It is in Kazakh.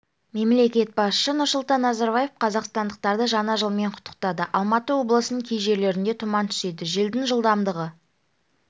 мемлекет басшысы нұрсұлтан назарбаев қазақстандықтарды жаңа жылмен құттықтады алматы облысының кей жерлерінде тұман түседі желдің жылдамдығы